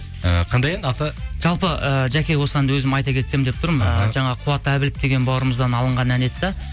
і қандай ән аты жалпы ііі жәке осы әнді өзім айта кетсем деп тұрмын іхі жаңа қуат әбілов деген бауырымыздан алған ән еді де